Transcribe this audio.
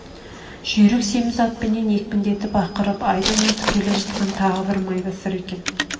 жүйрік семіз атпенен екпіндетіп ақырып айдын атып келе жатқан тағы майбасар екен